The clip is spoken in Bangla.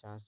চাষ